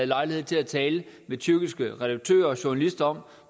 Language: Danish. lejlighed til at tale med tyrkiske redaktører og journalister om